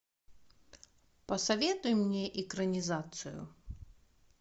посоветуй мне экранизацию